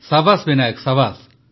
ସାବାସ୍ Binayak ସାବାସ୍